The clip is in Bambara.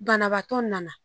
Banabaatɔ nana